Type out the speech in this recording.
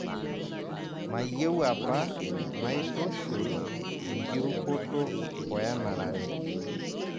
Mayieu apa naitushul enkirukoto oe enarare